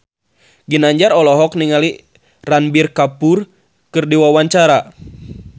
Ginanjar olohok ningali Ranbir Kapoor keur diwawancara